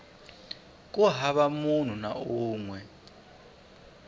hava munhu na un we